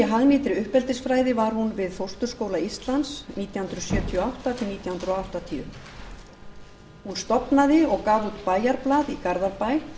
hagnýtri uppeldisfræði var hún við fósturskóla íslands nítján hundruð sjötíu og átta til nítján hundruð áttatíu hún stofnaði og gaf út bæjarblað í garðabæ